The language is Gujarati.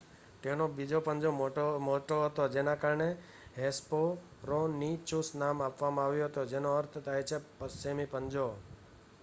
"તેનો બીજો પંજો મોટો હતો જેના કારણે હેસ્પેરોનીચુસ નામ આવ્યું હતું જેનો અર્થ થાય છે "પશ્ચિમી પંજા"".